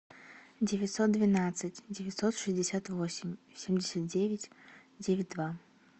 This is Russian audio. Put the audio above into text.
девятьсот двенадцать девятьсот шестьдесят восемь семьдесят девять девять два